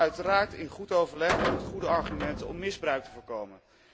Uiteraard in goed overleg en met goede argumenten, om misbruik te voorkomen.